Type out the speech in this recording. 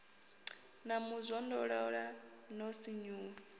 na mu zwondolola no sinvuwa